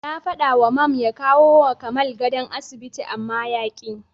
Na faɗawa Mam ya kawowa Kamal gadon asibiti amma yaƙi.